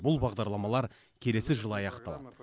бұл бағдарламалар келесі жылы аяқталады